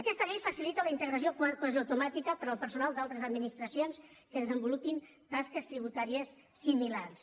aquesta llei facilita la integració quasi automàtica per al personal d’altres administracions que desenvolupin tasques tributàries similars